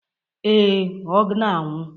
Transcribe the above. Ee, ọ na-anwụ.